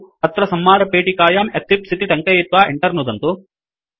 अत्र संवादपेटिकायां एक्लिप्स इति टङ्कयित्वा Enter नुदन्तु